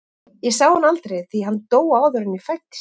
Ég sá hann aldrei því að hann dó áður en ég fæddist.